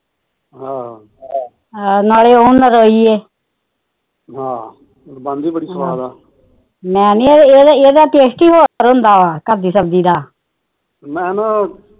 ਮੈਨੀ ਇਹਦਾ ਟੈਸਟ ਹੀ ਹੋਰ ਹੁੰਦਾ ਵਾ ਘਰ ਦੀ ਸਬਜੀ ਦਾ ਮੈਨਾ